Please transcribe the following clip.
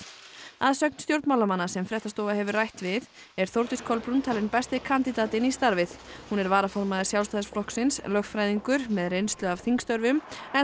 að sögn stjórnmálamanna sem fréttastofa hefur rætt við er Þórdís Kolbrún talin besti kandidatinn í starfið hún er varaformaður Sjálfstæðisflokksins lögfræðingur með reynslu af þingstörfum en